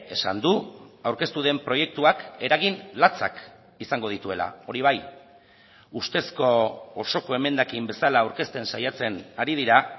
esan du aurkeztu den proiektuak eragin latzak izango dituela hori bai ustezko osoko emendakin bezala aurkezten saiatzen ari dira